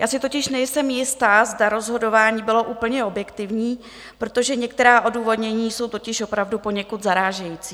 Já si totiž nejsem jista, zda rozhodování bylo úplně objektivní, protože některá odůvodnění jsou totiž opravdu poněkud zarážející.